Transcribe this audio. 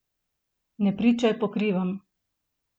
Ne pričaj po krivem!